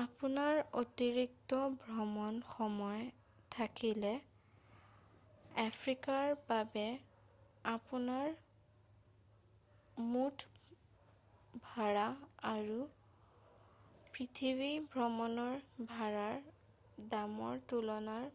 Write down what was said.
আপোনাৰ অতিৰিক্ত ভ্ৰমণ সময় থাকিলে আফ্ৰিকাৰ বাবে আপোনাৰ মুঠ ভাড়া আৰু পৃথিৱী ভ্ৰমণৰ ভাড়াৰ দামৰ তুলনাৰ